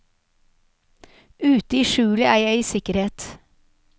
Ute i skjulet er jeg i sikkerhet.